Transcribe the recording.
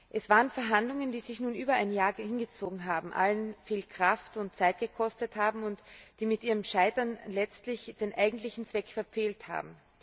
Es waren Verhandlungen, die sich nun über ein Jahr hingezogen haben, die alle viel Kraft und Zeit gekostet haben und die mit ihrem Scheitern letztlich den eigentlichen Zweck verfehlt haben.